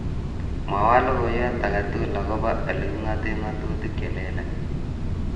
mwowon logoyot alaktugul agopo uleging'oten ngotutik jelelach